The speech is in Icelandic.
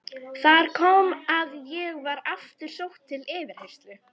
Þar kom að ég var aftur sótt til yfirheyrslu.